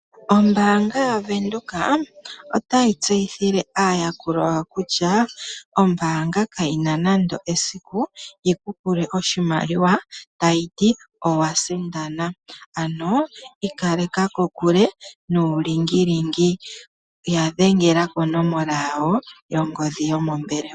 Ombaanga yaVenduka otayi tseyithile aayakulwa yawo kutya ombaanga kayi na nando esiku yi ku pule oshimaliwa tayi ti owa sindana, ano ikaleka kokule nuulingilingi. Ya dhengela koonomola yongodhi yomombelewa.